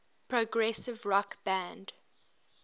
progressive rock band